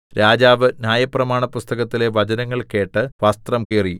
രാജാവ് ന്യായപ്രമാണപുസ്തകത്തിലെ വചനങ്ങൾ കേട്ട് വസ്ത്രം കീറി